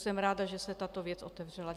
Jsem ráda, že se tato věc otevřela.